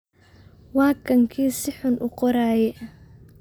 Wakan kii sixun uuqooraye.